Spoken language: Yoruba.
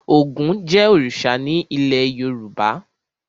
Ògún jẹ́ òrìṣà ní ilé Yorùbá.